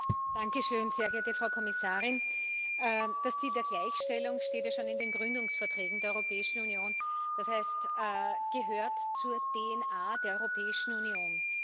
Frau Präsidentin, sehr geehrte Frau Kommissarin! Das Ziel der Gleichstellung steht ja schon in den Gründungsverträgen der Europäischen Union, das heißt, es gehört zur DNA der Europäischen Union.